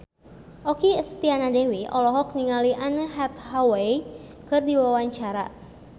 Okky Setiana Dewi olohok ningali Anne Hathaway keur diwawancara